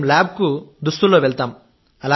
మేం ల్యాబ్కు దుస్తుల్లో వెళ్తాం